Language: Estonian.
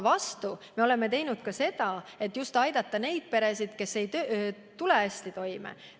Vastukaaluks oleme püüdnud aidata just neid peresid, kes ei tule hästi toime.